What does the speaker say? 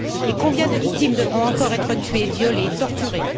Et combien de victimes devront encore être tuées, violées, torturées?